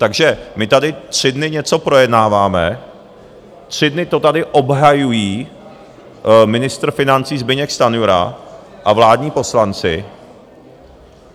Takže my tady tři dny něco projednáváme, tři dny to tady obhajují ministr financí Zbyněk Stanjura a vládní poslanci...